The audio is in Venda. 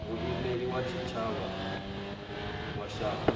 muimeli wa tshitshavha wa shango